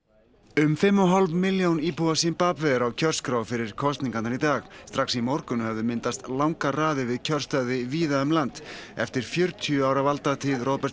um fimm og hálf milljón íbúa Simbave er á kjörskrá fyrir kosningarnar í dag strax í morgun höfðu myndast langar raðir við kjörstaði víða um landið eftir fjörutíu ára valdatíð Roberts